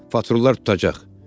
Patrulular tutacaq.